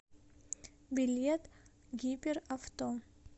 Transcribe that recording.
билет гиперавто